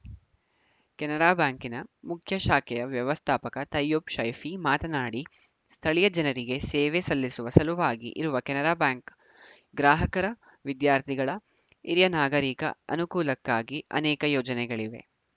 ಕೆನರಾ ಬ್ಯಾಂಕಿನ ಮುಖ್ಯ ಶಾಖೆಯ ವ್ಯವಸ್ಥಾಪಕ ತೈಯ್ಯುಬ್‌ ಶೈಫಿ ಮಾತನಾಡಿ ಸ್ಥಳೀಯ ಜನರಿಗೆ ಸೇವೆ ಸಲ್ಲಿಸುವ ಸಲುವಾಗಿ ಇರುವ ಕೆನರಾ ಬ್ಯಾಂಕು ಗ್ರಾಹಕರ ವಿದ್ಯಾರ್ಥಿಗಳ ಹಿರಿಯ ನಾಗರೀಕ ಅನುಕೂಲಕ್ಕಾಗಿ ಅನೇಕ ಯೋಜನೆಗಳಿವೆ